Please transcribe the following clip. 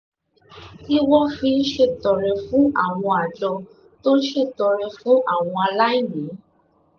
tí wọ́n fi ń ṣètọrẹ fún àwọn àjọ tó ń ṣètọrẹ fún àwọn aláìní